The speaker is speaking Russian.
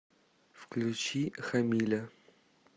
включи хамиля